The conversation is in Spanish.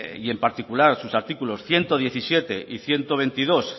y en particular sus artículos ciento diecisiete y ciento veintidós